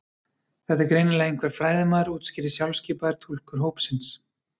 Þetta er greinilega einhver fræðimaður útskýrði sjálfskipaður túlkur hópsins.